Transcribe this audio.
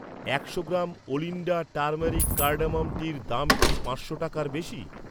একশো গ্রাম ওলিণ্ডা turmeric cardamom টির দাম কি পাঁচশো টাকার বেশি?